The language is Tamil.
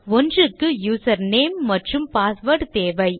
ஒன்றுக்கு யூசர்நேம் மற்றும் பாஸ்வேர்ட் தேவை